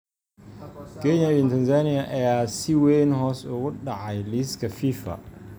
Kenya iyo Tanzania ayaa si weyn hoos ugu dhacay liiska Fifa